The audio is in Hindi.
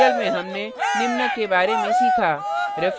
अतः इस tutorial में हमने निम्न के बारे में सीखा